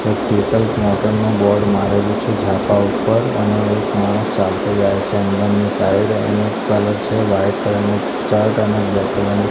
board મારેલુ છે ઝાપા ઉપર અને એક માણસ --